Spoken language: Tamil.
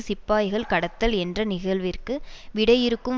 சிப்பாய்கள் கடத்தல் என்ற நிகழ்விற்கு விடையிறுக்கும்